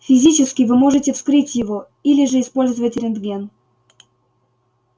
физически вы можете вскрыть его или же использовать рентген